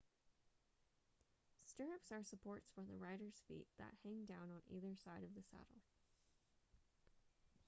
stirrups are supports for the rider's feet that hang down on either side of the saddle